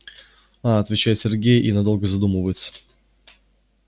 а отвечает сергей и надолго задумывается